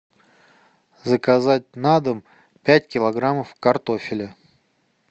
заказать на дом пять килограммов картофеля